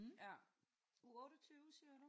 Uge 28 siger du?